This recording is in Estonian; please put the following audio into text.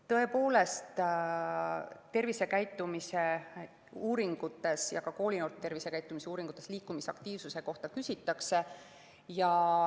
Tõepoolest, tervisekäitumise uuringutes ja ka koolinoorte tervisekäitumise uuringutes liikumisaktiivsuse kohta küsitakse.